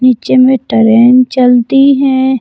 नीचे में ट्रेन चलती हैं।